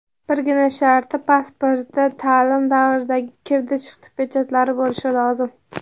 Birgina sharti pasportda taʼlim davridagi "kirdi-chiqdi" pechatlari bo‘lishi lozim.